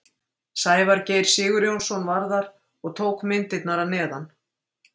Sævar Geir Sigurjónsson var þar og tók myndirnar að neðan.